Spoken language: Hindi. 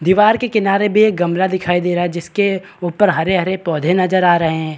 दीवार के किनारे भी एक गमला दिखाई दे रहा है जिसके ऊपर हरे-हरे पौधे नजर आ रहे हैं।